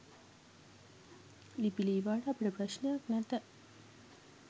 ලිපි ලීවාට අපට ප්‍රශ්නයක් නැත.